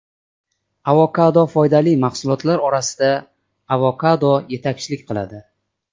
Avokado Foydali mahsulotlar orasida avokado yetakchilik qiladi.